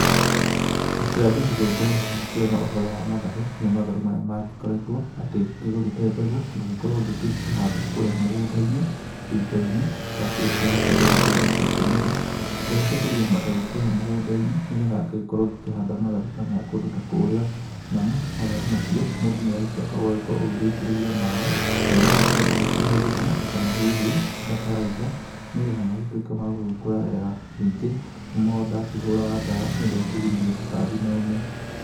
Rita rĩa mbere gũgĩkorwo ngĩkĩrĩma ũhoro wa matharũ nĩ matharũ marĩa magĩkoretwo atĩ ngĩgũrĩte mbegũ, ngagĩkorwo ngĩgĩcihanda kũrĩa mũgũnda-inĩ gĩito-inĩ. Ndakĩrĩkia gũcita gĩito-inĩ ciakĩmera ngagĩtegũria mategũ kũrĩa mũgũnda-inĩ nĩ getha ngagĩkorwo ngĩkĩhanda matharu ta maya kũndũ ta kũrĩa. Namo matharu macio mũndũ nĩ agĩcokaga agagĩkorwo agĩitĩrĩria maaĩ na ũgagĩkorwo ũgĩkĩhe thumu kana hihi bataraitha, nĩ getha magĩtuĩke magũgĩkũra wega. Ningĩ no ndakĩhũraga ndawa nĩ ũndũ wa kũgirĩrĩria tũtambi na ũme.